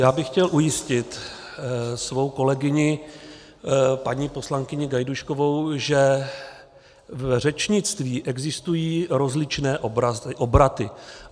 Já bych chtěl ujistit svou kolegyni paní poslankyni Gajdůškovou, že v řečnictví existují rozličné obraty.